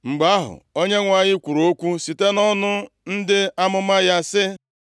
Mgbe ahụ, Onyenwe anyị kwuru okwu site nʼọnụ ndị amụma ya, sị,